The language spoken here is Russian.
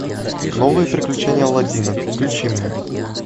новые приключения алладина включи мне